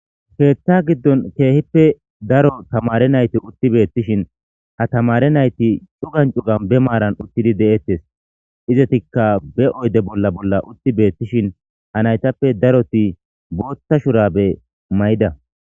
heeththa giddon keehippe daro tamare nayti utti beettishin ha tamare nayti cugancu ganbe maaran uttidi de7eettes izetikka be oyde bolla bolla utti beettishin ha naytappe daroti bootta shurabe may7ida